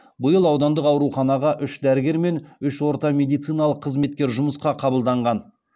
биыл аудандық ауруханаға үш дәрігер мен үш орта медициналық қызметкер жұмысқа қабылданған